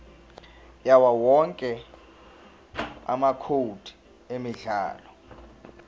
yawowonke amacode emidlalo